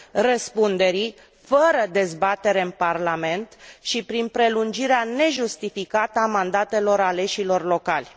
răspunderii, fără dezbatere în Parlament și prin prelungirea nejustificată a mandatelor aleșilor locali.